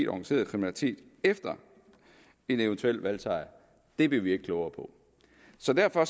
organiseret kriminalitet efter en eventuel valgsejr blev vi ikke klogere på så derfor